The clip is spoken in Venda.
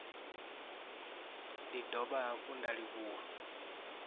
ndi dovha hafhu nda livhuwa